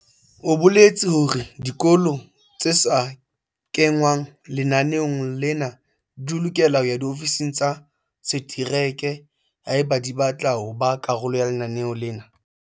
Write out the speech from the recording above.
O boletse hore dikolo tse sa kengwang lenaneong lena di lokela ho ya diofising tsa setereke haeba di batla ho ba karolo ya lenaneo lena.